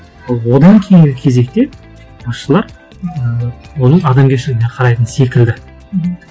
ал одан кейінгі кезекте басшылар ы оның адамгершілігіне қарайтын секілді мхм